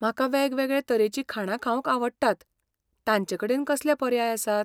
म्हाका वेगवेगळें तरेची खाणां खावंक आवडटात, तांचेकडेन कसले पर्याय आसात?